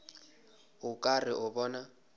o ka re o bona